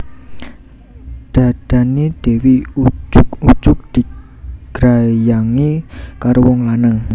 Dhadhane Dewi ujug ujug digrayangi karo wong lanang